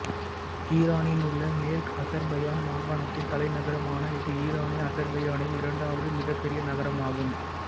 ஈரானிலுள்ள மேற்கு அசெர்பையான் மாகாணத்தின் தலைநகரமான இது ஈரானிய அசெர்பையானில் இரண்டாவது மிகப்பெரிய நகரமாகும்